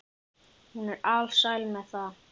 Hún var alsæl með það.